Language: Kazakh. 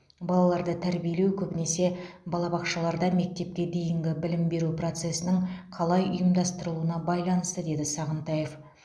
балаларды тәрбиелеу көбінесе балабақшаларда мектепке дейінгі білім беру процесінің қалай ұйымдастырылуына байланысты деді сағынтаев